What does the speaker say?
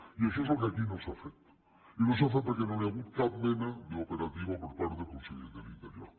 i això és el que aquí no s’ha fet i no s’ha fet perquè no hi ha cap mena d’operativa per part del conseller de l’interior